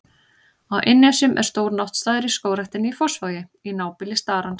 Á Innnesjum er stór náttstaður í Skógræktinni í Fossvogi, í nábýli starans.